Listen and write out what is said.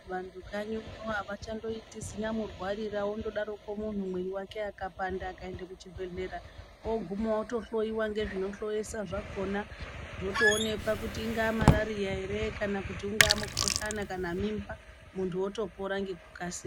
Vanhu kanyiyo avachangoiti zimurwarira wongodaro muntu mwiri wake ukapanda akaenda kuchibhedhlera oguma otohloiwa ngezvinohloyesa zvakona zvotoonekwa ingava mararira ere kana ingava mukuhlani kana mimba muntu otopora ngekukasira.